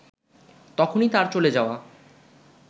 তখনই তার চলে যাওয়া